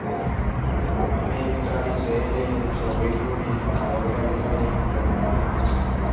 America ഇസ്രയേലിനെയും, Soviet Union Arab രാജ്യങ്ങളെയും യുദ്ധത്തിൽ പിന്തുണച്ചു.